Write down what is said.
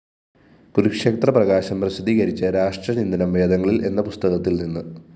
കുരുക്ഷേത്ര പ്രകാശന്‍ പ്രസിദ്ധീകരിച്ച രാഷ്ട്രചിന്തനം വേദങ്ങളില്‍ എന്ന പുസ്തകത്തില്‍നിന്ന്